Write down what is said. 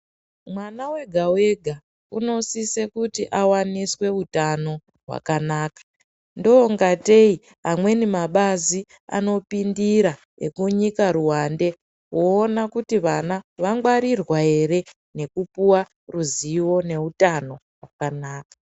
Mwana wega wega unosise kuti awaniswe utano hwakanaka ndongatei amweni mabazi anopindira ekunyika ruwande voona kuti vana vangwarirwa ere nekupuwa ruzivo neutano hwakanaka.